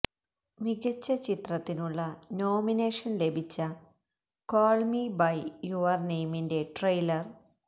മികച്ച ചിത്രത്തിനുള്ള നോമിനേഷന് ലഭിച്ച കോള് മി ബൈ യുവര് നെയിമിന്റെ ട്രെയിലര്